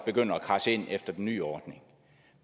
begynder at kradse ind efter den nye ordning